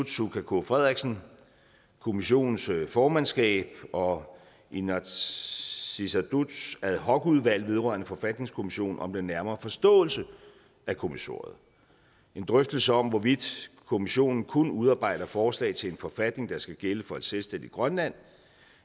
suka k frederiksen kommissionens formandskab og inatsisartuts ad hoc udvalg vedrørende forfatningskommissionen om den nærmere forståelse af kommissoriet en drøftelse om hvorvidt kommissionen kun udarbejder forslag til en forfatning der skal gælde for et selvstændigt grønland